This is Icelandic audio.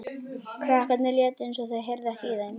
Krakkarnir létu eins og þau heyrðu ekki í þeim.